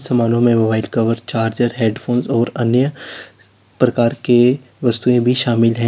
मनो में वो व्हाइट कवर चार्जर हेडफोंस और अन्य प्रकार के वस्तुएं भी शामिल हैं।